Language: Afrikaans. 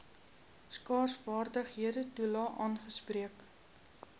skaarsvaardighede toelae aangespreek